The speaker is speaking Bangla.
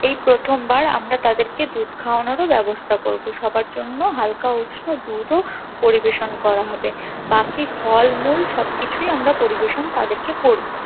এই প্রথম বার আমরা তাদের দুধ খাওয়ানোর ব্যবস্থা করবো সবার জন্য হালকা উষ্ণ দুধ ও পরিবেশন করা হবে বাকি সবকিছুই ফল মূল আমরা তাদেরকে পরিবেশন করবো